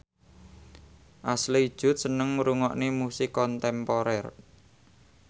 Ashley Judd seneng ngrungokne musik kontemporer